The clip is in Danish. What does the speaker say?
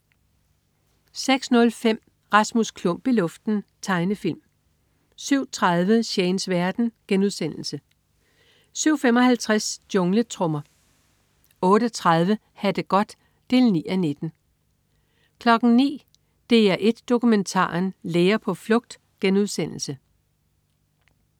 06.05 Rasmus Klump i luften. Tegnefilm 07.30 Shanes verden* 07.55 Jungletrommer 08.30 Ha' det godt 9:19 09.00 DR1 Dokumentaren: Læger på flugt*